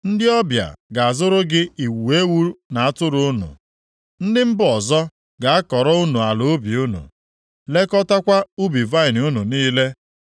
Ndị ọbịa ga-azụrụ gị igwe ewu na atụrụ unu; ndị mba ọzọ ga-akọrọ unu ala ubi unu, lekọtakwa ubi vaịnị unu niile.